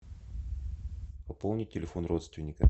пополни телефон родственника